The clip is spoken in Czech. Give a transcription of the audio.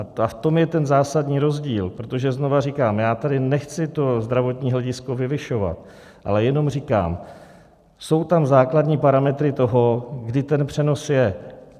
A v tom je ten zásadní rozdíl, protože znova říkám, já tady nechci to zdravotní hledisko vyvyšovat, ale jenom říkám, jsou tam základní parametry toho, kdy ten přenos je.